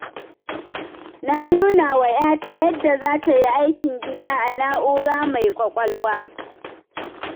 Na nunawa 'yata yadda za ta yi aikin gida a na'ura mai ƙwaƙwalwa.